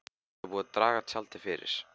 Það er búið að draga tjaldið fyrir.